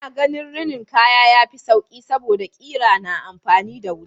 Ina ganin rinin kaya yafi sauƙi saboda ƙira na amfani da wuta.